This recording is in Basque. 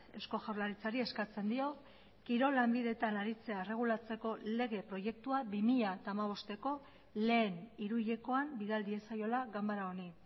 eusko jaurlaritzari eskatzen dio kirol lanbideetan aritzea erregulatzeko lege proiektua bi mila hamabosteko lehen hiruhilekoan bidal diezaiola ganbara honi